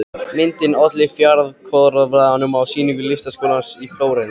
Myndin olli fjaðrafoki á sýningu Listaskólans í Flórens.